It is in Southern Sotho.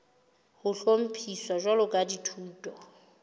ho hlophiswa jwalo ka dithuto